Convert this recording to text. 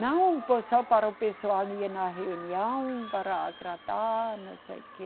Não foi só para o pessoal ir na reunião, para agradar, não sei o quê.